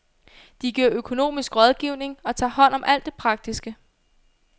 De giver økonomisk rådgivning og tager hånd om alt det praktiske.